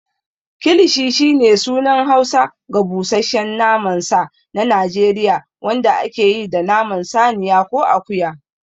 Kilishi shine sunan Hausa ga busasshen naman sa na Najeriya wanda ake yi da naman saniya ko akuya.